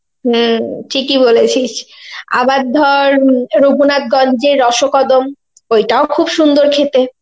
হম ঠিক ই বলেছিস, আবার ধর রঘুনাথ গঞ্জের রসকদম ঐটাও খুব সুন্দর খেতে.